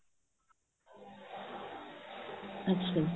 ਅੱਛਾ ਜੀ